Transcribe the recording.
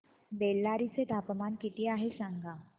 बेल्लारी चे तापमान किती आहे सांगा